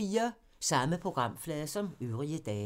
Samme programflade som øvrige dage